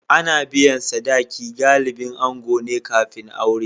Ana biyan sadaki galibin ango ne kafin aure.